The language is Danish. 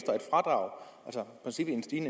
sige